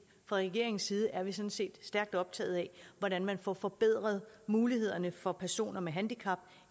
fra regeringens side er vi sådan set stærkt optaget af hvordan man får forbedret mulighederne for personer med handicap